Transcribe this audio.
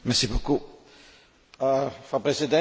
Frau Präsidentin, liebe Kolleginnen und Kollegen!